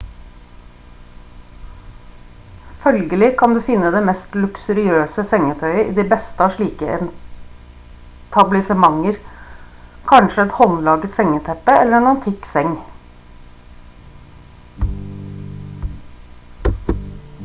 følgelig kan du finne det mest luksuriøse sengetøyet i de beste av slike etablissementer kanskje et håndlaget sengeteppe eller en antikk seng